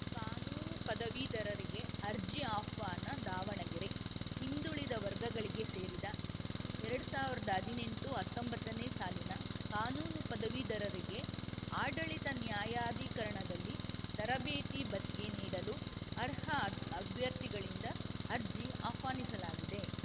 ಕಾನೂನು ಪದವೀಧರರಿಗೆ ಅರ್ಜಿ ಆಹ್ವಾನ ದಾವಣಗೆರೆ ಹಿಂದುಳಿದ ವರ್ಗಗಳಿಗೆ ಸೇರಿದ ಎರಡ್ ಸಾವಿರ್ದಾ ಹದ್ನೆಂಟು ಹತ್ತೊಂಬತ್ತನೇ ಸಾಲಿನ ಕಾನೂನು ಪದವೀಧರರಿಗೆ ಆಡಳಿತ ನ್ಯಾಯಾಧೀಕರಣದಲ್ಲಿ ತರಬೇತಿ ಭತ್ಯೆ ನೀಡಲು ಅರ್ಹ ಅಭ್ಯರ್ಥಿಗಳಿಂದ ಅರ್ಜಿ ಆಹ್ವಾನಿಸಲಾಗಿದೆ